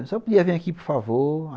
A senhora podia vir aqui, por favor?